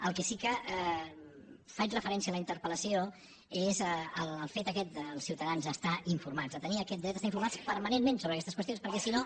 al que sí que faig referència en la interpelfet aquest de els ciutadans estar informats de tenir aquest dret a estar informats permanentment sobre aquestes qüestions perquè si no